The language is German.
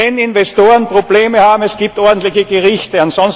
Wenn Investoren Probleme haben, gibt es ordentliche Gerichte.